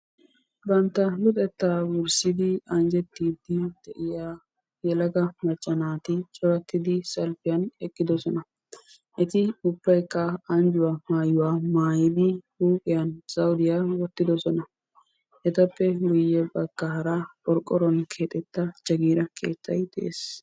Bantta luxetta wurssidi anjjetiidi de'iyaa yelaga macca naati corattidi salpiyan eqqidoosona. Eti ubbaykka anjjuwa maayyuwa maayyidi huuphiyan zawudiya wottidoosona. Etappe guyye baggaara qorqqoruwan keexxetta jaggira keettay de'ees.